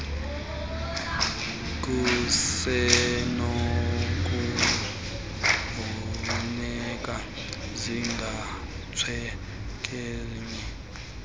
kusenokufuneka zikhatshwe zezinye